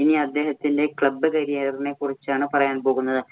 ഇനി അദ്ദേഹത്തിന്‍റെ club career ഇനെ കുറിച്ചാണ് പറയാന്‍ പോകുന്നത്.